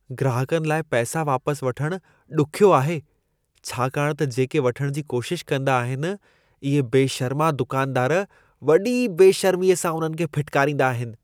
ग्राहकनि लाइ पैसा वापसि वठणु ॾुखियो आहे, छाकाणि त जेके वठण जी कोशिश कंदा आहिनि, इहे बेशर्मा दुकानदार वॾी बेशर्मीअ सां उन्हनि खे फिटकारींदा आहिनि।